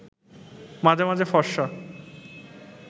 মাঝে মাঝে ফরসা